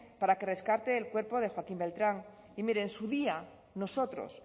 para que rescate el cuerpo de joaquín beltrán y mire en su día nosotros